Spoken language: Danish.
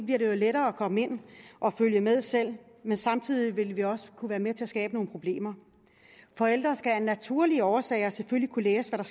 jo lettere at komme ind og følge med selv men samtidig vil vi også kunne være med til at skabe nogle problemer forældre skal af naturlige årsager kunne læse hvad